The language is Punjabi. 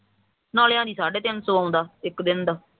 ਨਾਲੇ ਕਹਿੰਦੀ ਸਾਢੇ ਤਿੰਨ ਸੋ ਆਉਂਦਾ ਇੱਕ ਦਿਨ ਦਾ